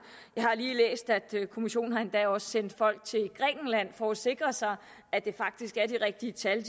jeg har lige læst at kommissionen endda også har sendt folk til grækenland for at sikre sig at det faktisk er de rigtige tal